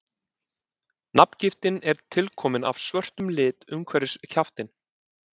nafngiftin er tilkomin af svörtum lit umhverfis kjaftinn